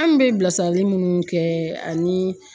An bɛ bilasirali munnu kɛ ani